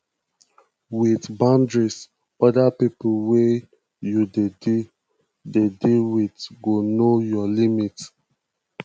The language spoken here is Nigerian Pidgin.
with boundaries oda pipo wey you dey deal dey deal with go know your limit